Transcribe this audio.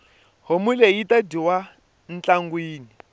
homu leyi yita dyiwa ntlangwini